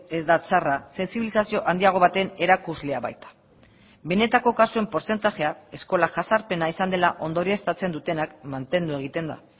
ez da txarra sentsibilizazio handiago baten erakuslea baita benetako kasuen portzentajea eskola jazarpena izan dela ondorioztatzen dutenak mantendu egiten da